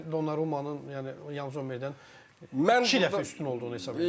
Mən Donnarummanın, yəni Yan Zommerdən iki dəfə üstün olduğunu hesab edirəm.